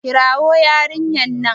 ka kirwo yarinyar nan!